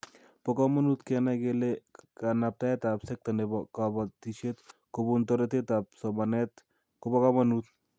Bo komonut Kenai kele kanabtaetab sekta nebo kobotisiet kobun toretab somanet ko bo komonut